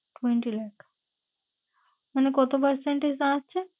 Twenty lakh মানে কত percentage দাঁড়াচ্ছে?